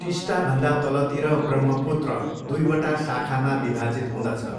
टिस्टाभन्दा तलतिर ब्रह्मपुत्र दुइवटा शाखामा विभाजित हुँदछ।